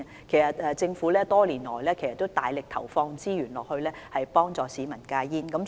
其實，政府多年來大力投放資源幫助市民戒煙。